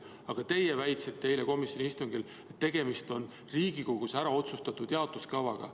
Aga teie väitsite eile komisjoni istungil, et tegemist on Riigikogus otsustatud jaotuskavaga.